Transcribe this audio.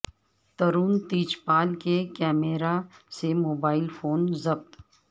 ترون تیج پال کے کمرہ سے موبائل فون ضبط